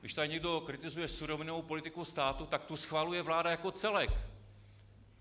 Když tady někdo kritizuje surovinovou politiku státu, tak tu schvaluje vláda jako celek.